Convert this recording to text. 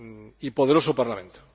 y poderoso Parlamento.